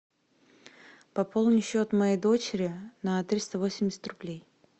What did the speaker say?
пополни счет моей дочери на триста восемьдесят рублей